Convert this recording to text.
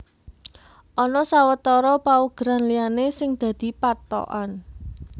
Ana sawetara paugeran liyané sing dadi pathokan